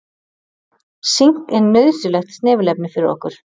Sink er nauðsynlegt snefilefni fyrir okkur.